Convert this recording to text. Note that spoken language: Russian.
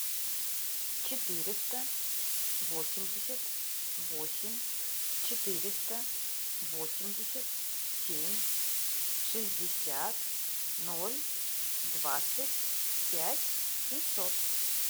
четыреста восемьдесят восемь четыреста восемьдесят семь шестьдесят ноль двадцать пять семьсот